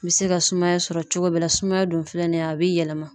N bɛ se ka sumaya sɔrɔ cogo bɛɛ la, sumaya dun filɛ nin ye a bɛ yɛlɛma.